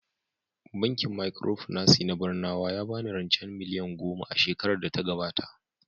Bankin Micropinaci na Barnawa ya ba ni rancen Naira miliyan goma a shekarar data gabata